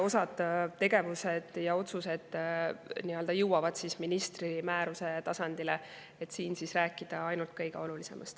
Osa tegevusi ja otsuseid ministri määruse tasandile, et siin rääkida ainult kõige olulisemast.